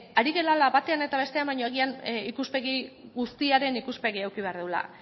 ari garela batean eta bestean baino agian ikuspegi guztiaren ikuspegia eduki behar dugula